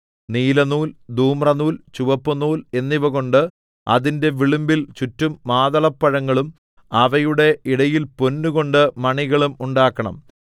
നീലനൂൽ ധൂമ്രനൂൽ ചുവപ്പുനൂൽ എന്നിവകൊണ്ട് അതിന്റെ വിളുമ്പിൽ ചുറ്റും മാതളപ്പഴങ്ങളും അവയുടെ ഇടയിൽ പൊന്നുകൊണ്ട് മണികളും ഉണ്ടാക്കണം